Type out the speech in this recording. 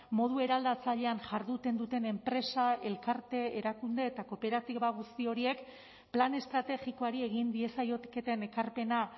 modu eraldatzailean jarduten duten enpresa elkarte erakunde eta kooperatiba guzti horiek plan estrategikoari egin diezaioketen ekarpena